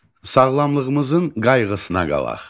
Sağlamlığımızın qayğısına qalaq.